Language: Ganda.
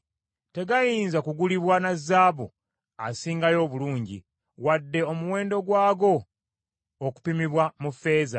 Tegayinza kugulibwa na zaabu asingayo obulungi, wadde omuwendo gwago okupimibwa mu ffeeza.